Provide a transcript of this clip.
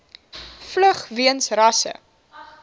vlug weens rasse